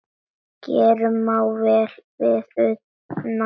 Gerður má vel við una.